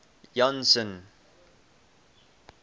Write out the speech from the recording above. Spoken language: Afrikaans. janson